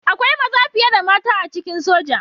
Akwai maza fiye da mata a cikin soja